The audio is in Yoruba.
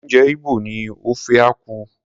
Oúnjẹ Igbo ni ofe akwu.